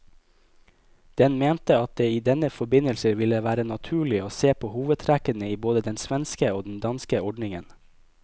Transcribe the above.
Den mente at det i denne forbindelse ville være naturlig å se på hovedtrekkene i både den svenske og den danske ordningen.